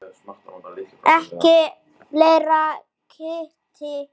Ekki fleiri ketti.